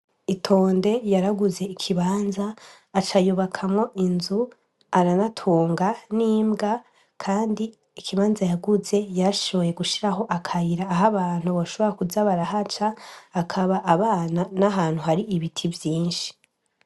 Itonde yaraguze ikibanza, aca yubakamwo inzu, arabatunga n'imbwa kandi ikibanza yaguze yarashoboye gushiraho akayira aha abantu bashobora kuza barahaca, akaba abana n'ahantu hari ibiti vyinshi.